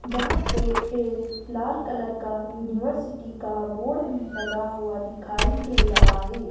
जहां पे एक लाल कलर का यूनिवर्सिटी का बोर्ड भी लगा हुआ दिखाई दे रहा है।